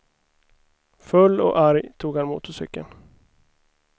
Full och arg tog han motorcykeln.